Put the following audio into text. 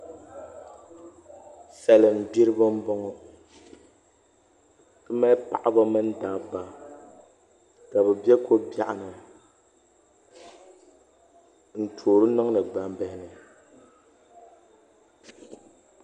Salin gbiribi n boŋo ti mali paɣaba mini dabba ka bi bɛ ko biɛɣu ni n toori niŋdi gbambihi ni